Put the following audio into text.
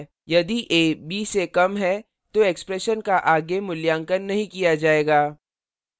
यदि a b से कम है तो expression का आगे मूल्यांकन नहीं किया जाएगा